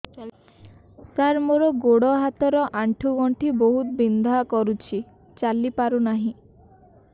ସାର ମୋର ଗୋଡ ହାତ ର ଆଣ୍ଠୁ ଗଣ୍ଠି ବହୁତ ବିନ୍ଧା କରୁଛି ଚାଲି ପାରୁନାହିଁ